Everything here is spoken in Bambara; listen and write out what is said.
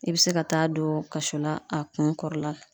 I be se ka taa don kaso la a kun kɔrɔla.